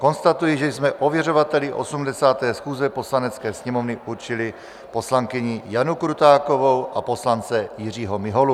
Konstatuji, že jsme ověřovateli 80. schůze Poslanecké sněmovny určili poslankyni Janu Krutákovou a poslance Jiřího Miholu.